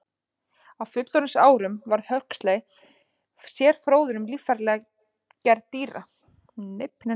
Á fullorðinsárum varð Huxley sérfróður um líffæragerð dýra, fyrst hryggleysingja en síðar einnig hryggdýra.